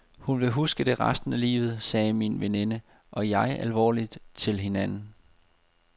Hun vil huske det resten af livet, sagde min veninde og jeg alvorligt til hinanden.